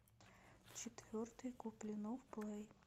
четвертый куплинов плей